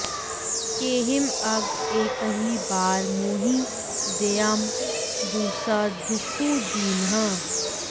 केहिं अघ एकहि बार मोहि दैअँ दुसह दुखु दीन्ह